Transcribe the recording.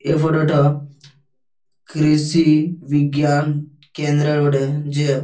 এই ফটো টো কৃষি বিজ্ঞান কেন্দ্র বটে। যে--